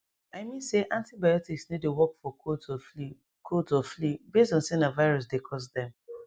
i mean say antibiotics no dey work for colds or flu colds or flu base on say na virus dey cause dem